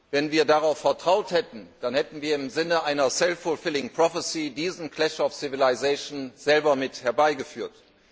Wenn wir darauf vertraut hätten, dann hätten wir im Sinne einer diesen selber mit herbeigeführt.